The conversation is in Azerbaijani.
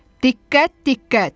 Diqqət, diqqət.